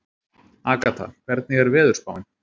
Agatha, hvernig er veðurspáin?